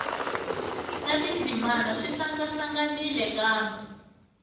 na tindzimana swi hlangahlanganile kambe